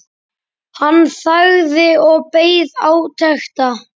Hann þagði og beið átekta.